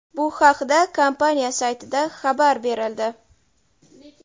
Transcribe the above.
Bu haqda kompaniya saytida xabar berildi.